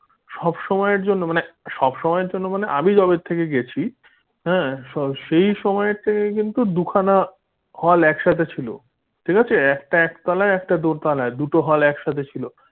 সবসময়ের জন্য মানে সব সময় জন্য আমি যবে থেকে গেছি হাঁ সেই সময় কিন্তু দুখানা hall একসাথে ছিল ঠিক আছে একটা একতলায় একটা দোতালায়, দুটো hall একসাথে ছিল বা ওরকম মাথার উপরে দেখানো fan লাগানো।